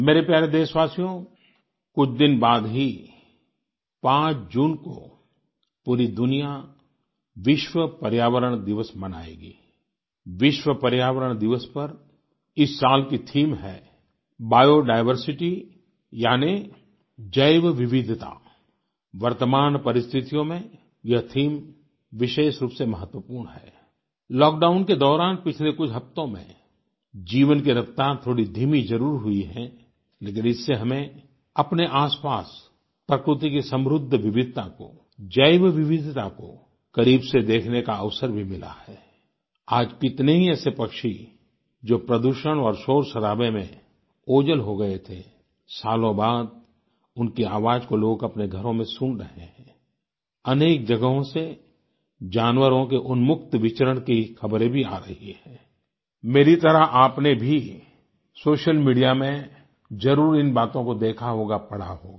मेरे प्यारे देशवासियो कुछ दिन बाद ही 5 जून को पूरी दुनिया विश्व पर्यावरण दिवस मनाएगी आई विश्व पर्यावरण दिवस पर इस साल की थीम है बियो डाइवर्सिटी यानी जैवविविधिता आई वर्तमान परिस्थितियों में यह थीम विशेष रूप से महत्वपूर्ण है आई लॉकडाउन के दौरान पिछले कुछ हफ़्तों में जीवन की रफ़्तार थोड़ी धीमी जरुर हुई है लेकिन इससे हमें अपने आसपास प्रकृति की समृद्ध विविधता को जैवविविधता को करीब से देखने का अवसर भी मिला है आई आज कितने ही ऐसे पक्षी जो प्रदूषण और शोरशराबे में ओझल हो गए थे सालों बाद उनकी आवाज़ को लोग अपने घरों में सुन रहे हैं आई अनेक जगहों से जानवरों के उन्मुक्त विचरण की खबरें भी आ रही हैं आई मेरी तरह आपने भी सोशल मीडिया में ज़रूर इन बातों को देखा होगा पढ़ा होगा